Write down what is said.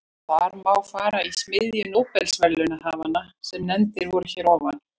Þar má fara í smiðju nóbelsverðlaunahafanna sem nefndir voru hér að ofan.